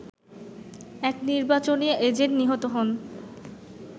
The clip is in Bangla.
এক নির্বাচনী এজেন্ট নিহত হন